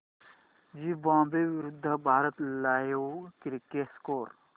Zimbabwe विरूद्ध Bharat live cricket score